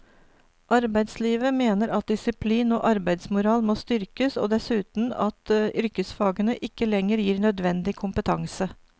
Arbeidslivet mener at disiplin og arbeidsmoral må styrkes, og dessuten at yrkesfagene ikke lenger gir nødvendig kompetanse.